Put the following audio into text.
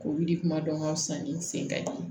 K'olu kuma dɔn ka fisa ni n sen ka ɲi